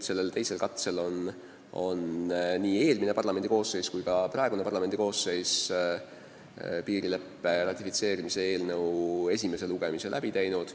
Sellel teisel katsel on nii eelmine kui ka praegune parlamendikoosseis piirileppe ratifitseerimise eelnõu esimese lugemise ära teinud.